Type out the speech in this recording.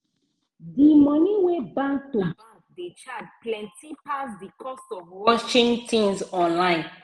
di money wey bank to bank dey charge plenti pass di cost of watching tins online.